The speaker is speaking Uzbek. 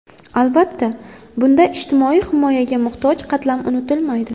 Albatta, bunda ijtimoiy himoyaga muhtoj qatlam unutilmaydi.